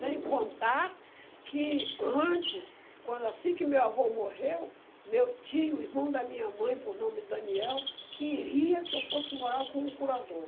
Sem contar que antes, quando assim que meu avô morreu, meu tio, irmão da minha mãe, por nome Daniel, queria que eu fosse morar com um curador.